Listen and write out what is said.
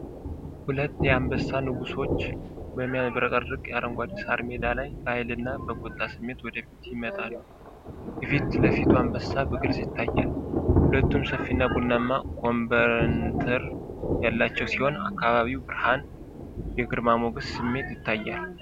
ሁለት የአንበሳ ንጉሦች በሚያብረቀርቅ አረንጓዴ ሳር ሜዳ ላይ በኃይልና በቁጣ ስሜት ወደ ፊት ይመጣሉ። የፊት ለፊቱ አንበሳ በግልጽ ይታያል። ሁለቱም ሰፊና ቡናማ ኮበንትር ያላቸው ሲሆን፤ ከአካባቢው ብርሃን የግርማ ሞገስ ስሜት ይታያል።